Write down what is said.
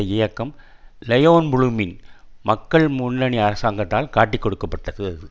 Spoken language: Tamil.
இயக்கம் லெயோன் ப்ளூமின் மக்கள் முன்னணி அரசாங்கத்தால் காட்டிக் கொடுக்க பட்டது அது